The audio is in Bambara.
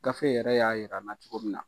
Gafe yɛrɛ y'a yira an na cogo min na